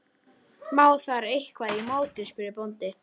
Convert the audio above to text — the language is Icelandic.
Má þar eitthvað í móti, spurði bóndi?